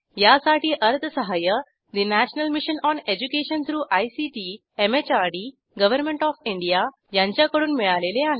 यासाठी अर्थसहाय्य national mission on education through ICT MHRD government of India यांच्याकडून मिळालेले आहे